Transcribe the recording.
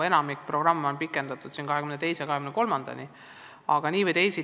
Enamik programme on juba pikendatud 2022.–2023. aastani.